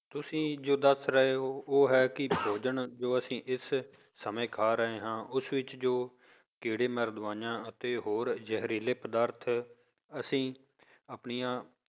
ਤੁਸੀਂ ਜੋ ਦੱਸ ਰਹੇ ਹੋ ਉਹ ਹੈ ਕਿ ਭੋਜਨ ਜੋ ਅਸੀਂ ਇਸ ਸਮੇਂ ਖਾ ਰਹੇ ਹਾਂ ਉਸ ਵਿੱਚ ਜੋ ਕੀੜੇ ਮਾਰ ਦਵਾਈਆਂ ਅਤੇ ਹੋਰ ਜਹਿਰੀਲੇ ਪਦਾਰਥ ਅਸੀਂ ਆਪਣੀਆਂ